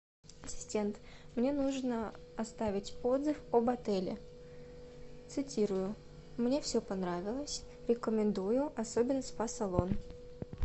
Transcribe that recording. ассистент мне нужно оставить отзыв об отеле цитирую мне все понравилось рекомендую особенно спа салон